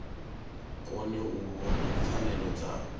kone u vhona pfanelo dza